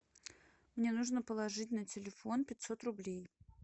мне нужно положить на телефон пятьсот рублей